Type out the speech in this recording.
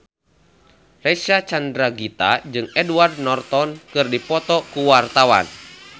Reysa Chandragitta jeung Edward Norton keur dipoto ku wartawan